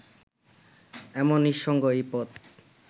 এমন নিঃসঙ্গ এই পথ